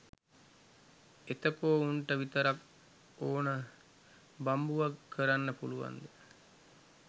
එතකො උන්ට විතරක් ඹ්න බම්බුවක් කරන්න පුලුවන්ද?